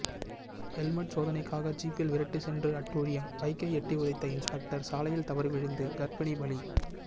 helmet சோதனைக்காக ஜீப்பில் விரட்டி சென்று அட்டூழியம் பைக்கை எட்டி உதைத்த இன்ஸ்பெக்டர் சாலையில் தவறிவிழுந்து கர்ப்பிணி பலி